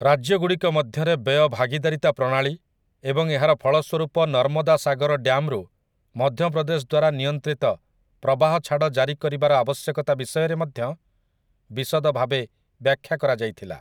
ରାଜ୍ୟଗୁଡ଼ିକ ମଧ୍ୟରେ ବ୍ୟୟ ଭାଗିଦାରିତା ପ୍ରଣାଳୀ ଏବଂ ଏହାର ଫଳସ୍ୱରୂପ ନର୍ମଦା ସାଗର ଡ୍ୟାମ୍‌ରୁ ମଧ୍ୟପ୍ରଦେଶ ଦ୍ୱାରା ନିୟନ୍ତ୍ରିତ ପ୍ରବାହଛାଡ଼ ଜାରି କରିବାର ଆବଶ୍ୟକତା ବିଷୟରେ ମଧ୍ୟ ବିଷଦଭାବେ ବ୍ୟାଖ୍ୟା କରାଯାଇଥିଲା ।